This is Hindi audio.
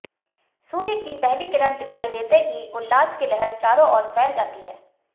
सूर्य की पहली किरण दिखाई देते ही उल्लास की लहर चारों और फैल जाती है